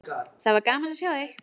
Það var gaman að sjá þig!